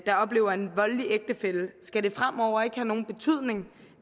der oplever en voldelig ægtefælle skal det fremover ikke have nogen betydning